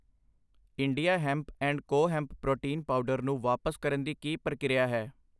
India hemp and co hemp protein powder ਨੂੰ ਵਾਪਸ ਕਰਨ ਦੀ ਕੀ ਪ੍ਰਕਿਰਿਆ ਹੈ?